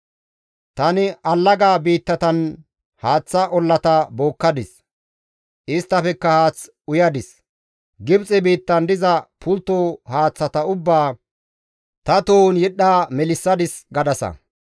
Tani allaga biittatan haaththa ollata bookkadis, isttafekka haath uyadis. Gibxe biittan diza pultto haaththata ubbaa ta tohon yedhdha melissadis› gadasa.